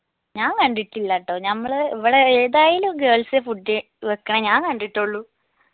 ഞാൻ കണ്ടിട്ടില്ലാട്ടോ നമ്മൾ ഇവിടെ ഏതായാലും girls ഏ food വെക്കിണെ ഞാൻ കണ്ടിട്ടുള്ളു